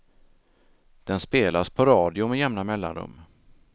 Den spelas på radio med jämna mellanrum.